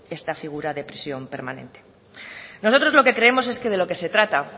esta figura de prisión permanente nosotros lo que creemos es que de lo que se trata